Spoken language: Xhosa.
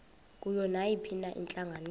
kuyo nayiphina intlanganiso